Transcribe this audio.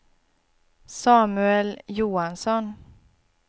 Samuel Johansson